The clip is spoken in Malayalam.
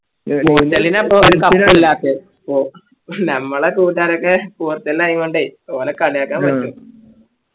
നമ്മളെ കൂട്ടുകാരൊക്കെ പോർച്ചുഗൽ ആയങ്കോണ്ടേ ഓരേ കളിയാക്ക പറ്റും